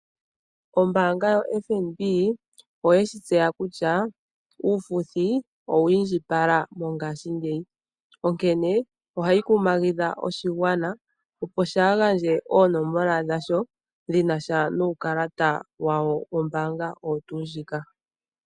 Ombaanga yoFNB oyeshi tseya kutya uufuthi owa indjipala mongashingeyi. Onkene ohayi kumagidha oshigwana, opo shaagandje oonomola dhawo dhinasha nuukalata wawo wombaanga oyo tuu ndjika.